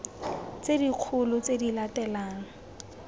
tse dikgolo tse di latelang